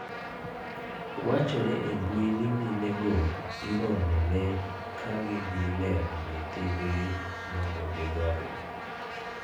Wachore e mbui ni mine go iromo ne ka gidhi neno nyithindgi mondo gidhodhgi